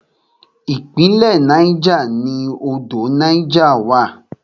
Ìpínlẹ̀ Niger ni odò Niger wà.